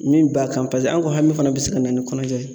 Min b'a kan paseke an ka hami fana bi se ka na ni kɔnɔja ye.